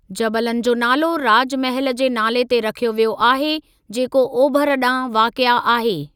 जबलनि जो नालो राजमहल जे नाले ते रखियो वियो आहे, जेको ओभर ॾांहुं वाक़िए आहे।